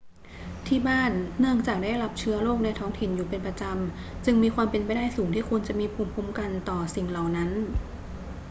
ที่บ้าน เนื่องจากได้รับเชื้อโรคในท้องถิ่นอยู่เป็นประจำ จึงมีความเป็นไปได้สูงที่คุณจะมีภูมิคุ้มกันต่อสิ่งเหล่านั้น